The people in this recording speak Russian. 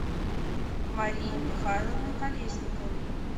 марии михайловны колесниковой